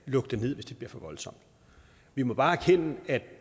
lukke det ned hvis det bliver for voldsomt vi må bare erkende at